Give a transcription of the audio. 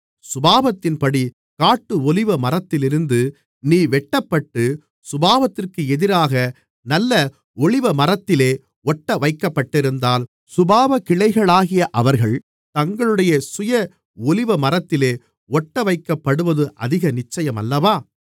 சுபாவத்தின்படி காட்டு ஒலிவமரத்திலிருந்து நீ வெட்டப்பட்டு சுபாவத்திற்கு எதிராக நல்ல ஒலிவமரத்திலே ஒட்டவைக்கப்பட்டிருந்தால் சுபாவக்கிளைகளாகிய அவர்கள் தங்களுடைய சுய ஒலிவமரத்திலே ஒட்டவைக்கப்படுவது அதிக நிச்சயமல்லவா